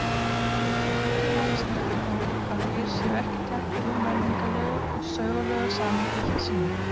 Öllu máli skiptir þó að þeir séu ekki teknir úr menningarlegu og sögulegu samhengi sínu.